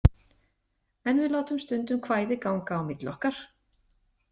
En við látum stundum kvæði ganga á milli okkar.